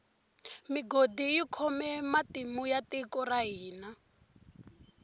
migodi yi khome matimu ya tiko ra hina